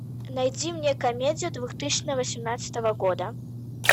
найди мне комедию две тысячи восемнадцатого года